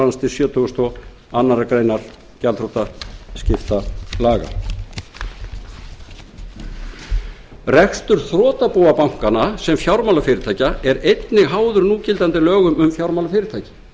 númer hundrað sextíu og eitt tvö þúsund og tvö rekstur þrotabúa bankanna sem fjármálafyrirtækja er einnig háður núgildandi lögum um fjármálafyrirtæki